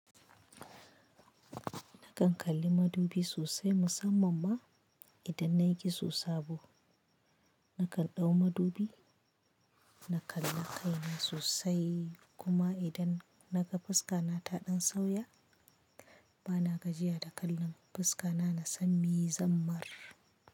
Nakan kalli madubi sosai musamman ma idan nayi giso sabo. Nakan ɗau madubi, na kalla kai na sosai kuma idan naga fuska nata ɗan sauya bana gajiya da kallon fuska na, na sani yi zammar.